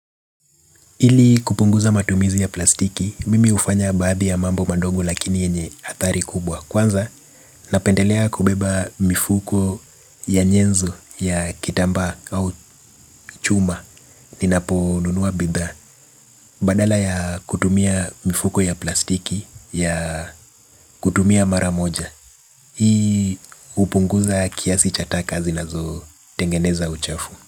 Ili kupunguza matumizi ya plastiki, mimi hufanya baadhi ya mambo madogo lakini yenye athari kubwa. Kwanza, napendelea kubeba mifuko ya nyenzo ya kitambaa au chuma ninaponunua bidhaa. Badala ya kutumia mifuko ya plastiki ya kutumia mara moja. Hii hupunguza kiasi cha taka zinazotengeneza uchafu.